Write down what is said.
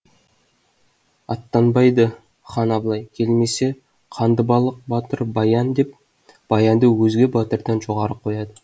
аттанбайды хан абылай келмесе қандыбалық батыр баян деп баянды өзге батырдан жоғары қояды